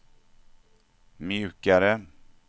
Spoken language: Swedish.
mjukare